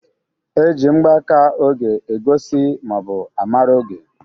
E ji mgbaka oge egosi ma ọ bụ a mara oge.